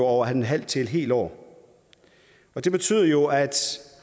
over et halvt til et helt år det betyder jo at